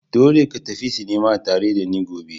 Dole ka tafi sinima tare da ni gobe!